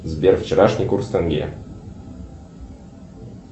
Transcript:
сбер вчерашний курс тенге